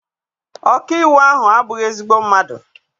Ọkaiwu ahụ abụghị ezigbo mmadụ.